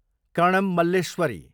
Karnam Malleswari